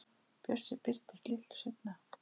Bjössi birtist litlu seinna.